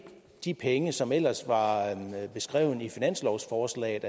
de penge som ellers var beskrevet i finanslovsforslaget